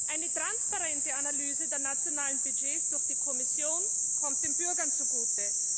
Eine transparente Analyse der nationalen Budgets durch die Kommission kommt den Bürgern zugute.